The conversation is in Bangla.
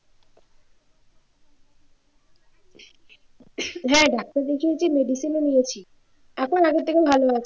হ্যাঁ, ডাক্তার দেখিয়েছি medicine ও নিয়েছি এখন আগের থেকে ভালো আছি